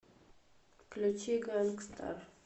включи ганг стар